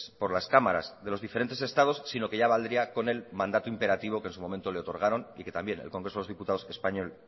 por las cámaras de los diferentes estados sino que ya valdría con el mandato imperativo que en su momento le otorgaron y que también el congreso de los diputados español